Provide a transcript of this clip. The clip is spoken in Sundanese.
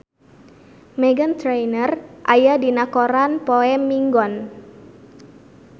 Meghan Trainor aya dina koran poe Minggon